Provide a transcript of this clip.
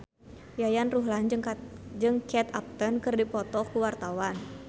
Yayan Ruhlan jeung Kate Upton keur dipoto ku wartawan